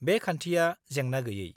बे खान्थिया जेंना गैयै।